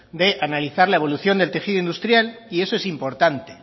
de analizar la evolución del tejido industrial y eso es importante